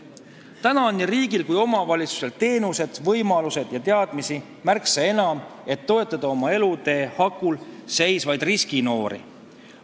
Nüüd on nii riigil kui omavalitsusel teenuseid, võimalusi ja teadmisi märksa enam, et toetada oma elutee hakul seisvaid riskinoori.